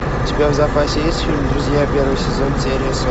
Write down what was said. у тебя в запасе есть фильм друзья первый сезон серия